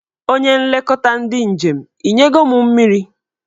Onye nlekọta ndị njem, ị nye go mụ mmiri?